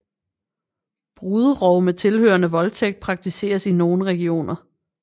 Bruderov med tilhørende voldtægt praktiseres i nogen regioner